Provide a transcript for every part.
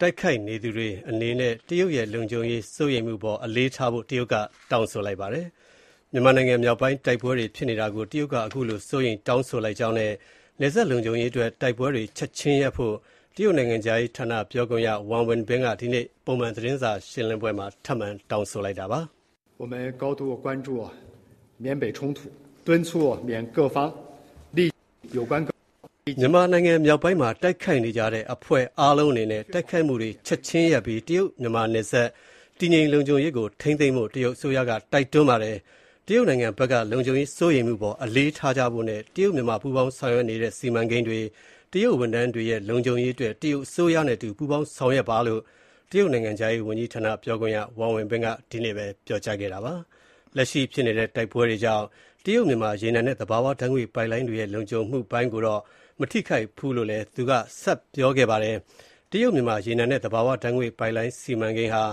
တိုက်ခိုက်နေသူတွေအနေနဲ့ တရုတ်ရဲ့ လုံခြုံရေးစိုးရိမ်မှုအပေါ် အလေးထားဖို့ တရုတ်အစိုးရက တိုက်တွန်းလိုက်ပါတယ်။ မြန်မာနိုင်ငံမြောက်ပိုင်းမှာ တိုက်ပွဲတွေဖြစ်နေတာကို တရုတ်က အထူးစိုးရိမ်နေပြီး တရုတ် မြန်မာနယ်စပ်လုံခြုံရေးအတွက် တိုက်ပွဲတွေ ချက်ချင်းရပ်ဖို့ တရုတ်နိုင်ငံခြားရေးဌာန ပြောခွင့်ရ Wang Wenbin ကဒီနေ့ ပုံမှန်သတင်းစာရှင်းပွဲမှာ ထပ်မံ တောင်းဆိုခဲ့ပါတယ်။ မြန်မာနိုင်ငံမြောက်ပိုင်းမှာ တိုက်ခိုက်နေကြတဲ့အဖွဲ့အားလုံးအနေနဲ့ တိုက်ခိုက်မှုတွေ ချက်ချင်းရပ်ပြီး တရုတ် မြန်မာနယ်စပ် တည်ငြိမ် လုံခြုံရေးကို ထိန်းသိမ်းဖို့ တရုတ်အစိုးရက တိုက်တွန်းပါတယ်။ တရုတ်နိုင်ငံဘက်က လုံခြုံရေးစိုးရိမ်မှုအပေါ် အလေးထားကြဖို့နဲ့ တရုတ် မြန်မာပူးပေါင်းဆောင်ရွက်နေတဲ့ စီမံကိန်းတွေ၊ တရုတ်ဝန်ထမ်းတွေရဲ့ လုံခြုံရေးအတွက် တရုတ်အစိုးရနဲ့အတူ ပူးပေါင်းဆောင်ရွက်ပါလို့ တရုတ်နိုင်ငံခြားရေးဝန်ကြီးဌာန ပြောခွင့်ရ Wang Wenbin က ဒီနေ့ ပြောကြားခဲ့တာဖြစ်ပါတယ်။ လက်ရှိဖြစ်နေတဲ့ တိုက်ပွဲတွေကြောင့် တရုတ် မြန်မာ ရေနံနဲ့ သဘာဝဓါတ်ငွေ့ပိုက်လိုင်းတွေရဲ့ လုံခြုံမှုပိုင်းကိုတော့ မထိခိုက်ဘူးလို့လည်း သူကပြောပါတယ်။ တရုတ် မြန်မာ ရေနံနဲ့ သဘာဝဓါတ်ငွေ့ပိုက်လိုင်းစီမံကိန်းဟာ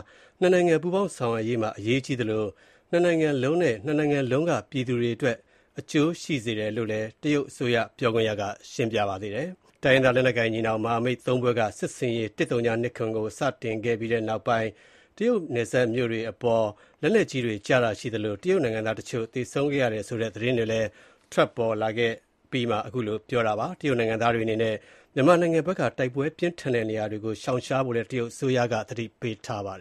၂ နိုင်ငံ ပူးပေါင်းဆောင်ရွက်ရေးမှာ အရေးကြီးသလို ၂ နိုင်ငံလုံးနဲ့ ၂ နိုင်ငံလုံးက ပြည်သူတွေအတွက် အကျိုးရှိစေတယ်လို့လည်း တရုတ်အစိုးရ ပြောခွင့်ရက ပြောပါတယ်။ တိုင်းရင်းသားလက်နက်ကိုင် ညီနောင်မဟာမိတ် ၃ ဖွဲ့က စစ်ဆင်ရေး ၁၀၂၇ ကို စတင်ခဲ့ပြီးနောက်ပိုင်း တရုတ်နယ်စပ်မြို့တွေအပေါ် လက်နက်ကြီးတွေကျတာရှိသလို တရုတ်နိုင်ငံသားတချို့ သေဆုံးတယ်ဆိုတဲ့ သတင်းတွေလည်း အဲဒီဒေသဖက်ကလာတဲ့သတင်းတွေမှာ ဖော်ပြပါတယ်။ တရုတ်နိုင်ငံသားတွေအနေနဲ့ မြန်မာနိုင်ငံဖက်က တိုက်ပွဲပြင်းထန်နေတဲ့ နေရာတွေကို ရှောင်ရှားဖို့လည်း တရုတ်အစိုးရက ပြောကြားထားပါတယ်